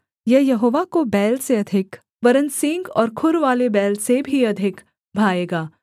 यह यहोवा को बैल से अधिक वरन् सींग और खुरवाले बैल से भी अधिक भाएगा